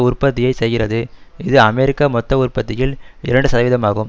உற்பத்தியை செய்கிறது இது அமெரிக்க மொத்த உற்பத்தியில் இரண்டு சதவீதமாகும்